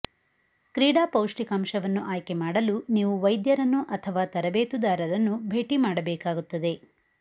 ಕ್ರೀಡಾ ಪೌಷ್ಟಿಕಾಂಶವನ್ನು ಆಯ್ಕೆ ಮಾಡಲು ನೀವು ವೈದ್ಯರನ್ನು ಅಥವಾ ತರಬೇತುದಾರರನ್ನು ಭೇಟಿ ಮಾಡಬೇಕಾಗುತ್ತದೆ